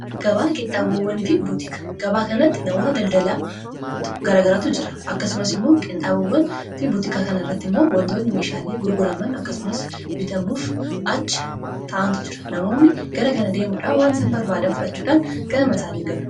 gabaa kanatti namoota daldalaa garagaratu jira akkasumas immoo qinxhaabowwan fi butikaa kana irratti immoo wandoonni meeshaalee gurguraman akkasumas bitamuuf acha ta'antu jira namoonni gara kana deemuudha waan isan barbaadan fudhachuudhaan ganama isaaniin galu